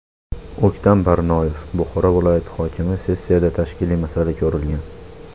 O‘ktam Barnoyev, Buxoro viloyati hokimi Sessiyada tashkiliy masala ko‘rilgan.